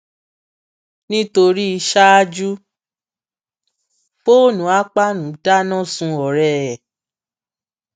nítorí ṣáájú fóònù akpan dáná sun ọrẹ ẹ